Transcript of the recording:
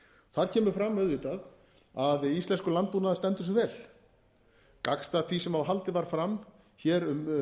þar kemur fram auðvitað að íslenskur landbúnaður stendur sig vel gagnstætt því sem haldið var fram hér um